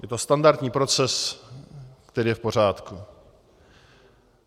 Je to standardní proces, který je v pořádku.